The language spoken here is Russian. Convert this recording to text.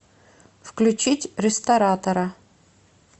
включить ресторатора